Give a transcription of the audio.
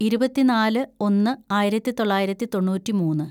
ഇരുപത്തിന്നാല് ഒന്ന് ആയിരത്തിതൊള്ളായിരത്തി തൊണ്ണൂറ്റിമൂന്ന്‌